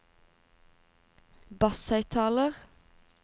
basshøyttaler